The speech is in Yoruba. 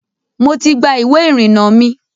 Mo ti gba iwé ìrìnà mi.